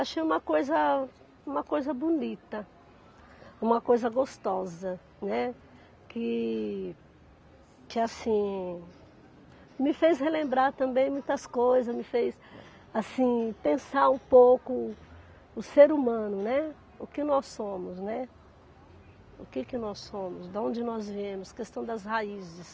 Achei uma coisa, uma coisa bonita, uma coisa gostosa, né, que que assim, me fez relembrar também muitas coisas, me fez assim pensar um pouco o ser humano, né, o que nós somos, né, o que que nós somos, de onde nós viemos, a questão das raízes.